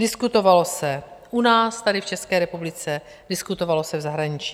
Diskutovalo se u nás tady v České republice, diskutovalo se v zahraničí.